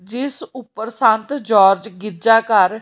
ਜਿਸ ਉੱਪਰ ਸੰਤ ਜੋਰਜ ਗਿਰਜਾ ਘਰ--